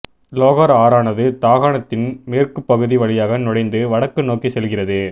லோகர் ஆறானது தாகாணத்தின் மேற்குப் பகுதி வழியாக நுழைந்து வடக்கு நோக்கி செல்கிறது